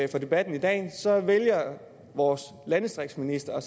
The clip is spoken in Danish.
debatten i dag vælger vores landdistriktsminister